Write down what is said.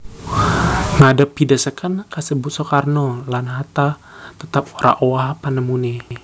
Ngadhepi dhesekan kasebut Soekarno lan Hatta tetep ora owah panemuné